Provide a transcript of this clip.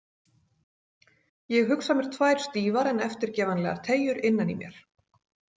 Ég hugsa mér tvær stífar en eftirgefanlegar teygjur, innan í mér.